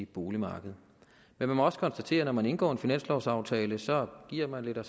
boligmarkedet men man må også konstatere at når man indgår en finanslovsaftale så giver man lidt og